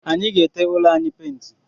Anyi ga-ete ụlọ anyị painti